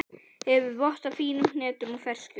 Hefur vott af fínum hnetum og ferskjum.